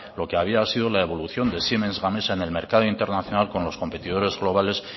lo que había sido la evolución de siemens gamesa en el mercado internacional con los competidores globales